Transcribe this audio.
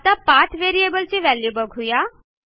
आता पाठ variableची व्हॅल्यू बघू या